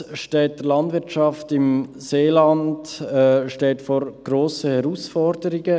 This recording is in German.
Nichtsdestotrotz steht die Landwirtschaft im Seeland vor grossen Herausforderungen.